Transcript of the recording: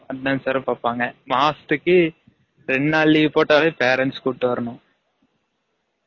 attendance வேர பாபாங்கா மாசதுக்கு ரெண்டு நால் leave போடாலே parents கூட்டு வரனும்